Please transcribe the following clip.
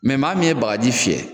maa min ye bagaji fiyɛ